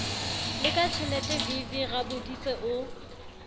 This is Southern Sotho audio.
le ka tjheletevv raboditse o